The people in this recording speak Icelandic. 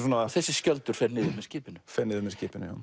þessi skjöldur fer niður með skipinu fer niður með skipinu já